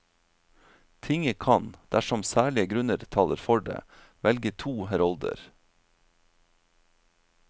Tinget kan, dersom særlige grunner taler for det, velge to herolder.